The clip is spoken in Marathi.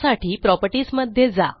त्यासाठी प्रॉपर्टीजमध्ये जा